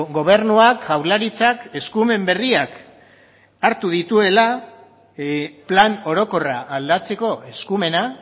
gobernuak jaurlaritzak eskumen berriak hartu dituela plan orokorra aldatzeko eskumena